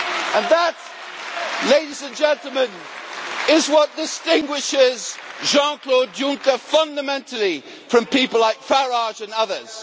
And that, ladies and gentlemen, is what distinguishes Jean Claude Juncker fundamentally from people like Farage and others.